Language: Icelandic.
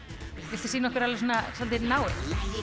viltu sýna okkur alveg svona svolítið náið